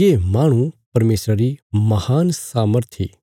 ये माहणु परमेशरा री महान सामर्थ इ